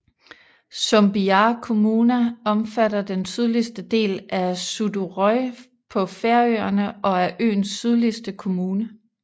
Sumbiar kommuna omfatter den sydligste del af Suðuroy på Færøerne og er øernes sydligste kommune